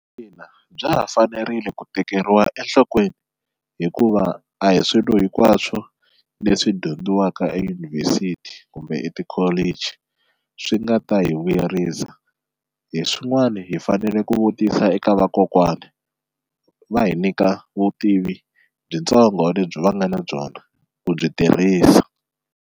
Ina bya ha fanerile ku tekeriwa enhlokweni hikuva a hi swilo hinkwaswo leswi dyondziwaka eyunivhesiti kumbe etikholichi swi nga ta hi vuyerisa, hi swin'wani hi fanele ku vutisa eka vakokwani va hi nyika vutivi byitsongo lebyi va nga na byona ku byi tirhisa.